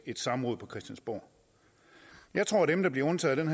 et samråd på christiansborg jeg tror at dem der bliver undtaget